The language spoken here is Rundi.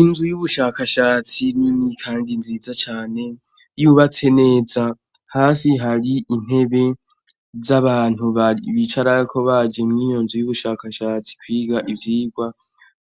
Inzu y'ubushakashatsi nini kandi nziza cane, yubatse neza. Hasi hari intebe z'abantu bicarako baje mw'iyo nzu y'ubushakashatsi kwiga ivyigwa.